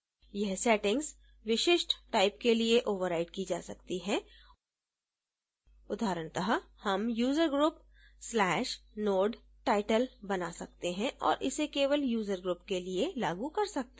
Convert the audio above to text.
यह setting विशिष्ट type के लिए ओवर्राइड की जा सकती है उदाहरणतः हम usergroup/node: title बना सकते हैं और इसे केवल user group के लिए लागू कर सकते हैं